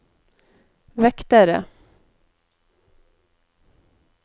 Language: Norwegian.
vektere